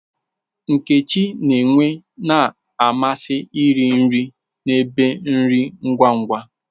Nkechi n'nwe na-amasị iri nri na n'ebe nri ngwa ngwa.